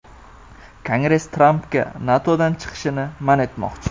Kongress Trampga NATOdan chiqishni man etmoqchi.